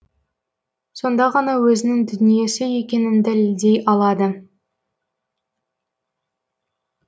сонда ғана өзінің дүниесі екенін дәлелдей алады